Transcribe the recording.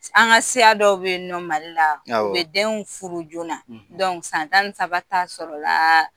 An ka siya dɔw be in nɔ Mali la u bɛ denw furu joona na, san tan ni saba t'a sɔrɔ la